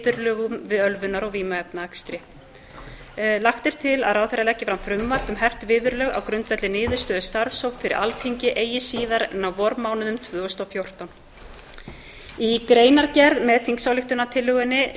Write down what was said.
viðurlögum við ölvunar og vímuefnaakstri ráðherra leggi frumvarp um hert viðurlög á grundvelli niðurstöðu starfshópsins fyrir alþingi eigi síðar en á vormánuðum tvö þúsund og fjórtán í greinargerð með þingsályktunartillögunni